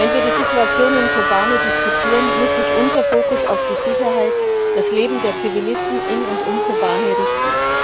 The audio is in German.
Wenn wir die Situation in Kobane diskutieren, muss sich unser Fokus auf die Sicherheit und das Leben der Zivilisten in und um Kobane richten.